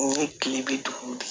Ni kile bɛ dugu de